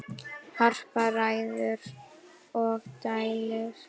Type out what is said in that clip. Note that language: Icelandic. Harpa ræður og dælir.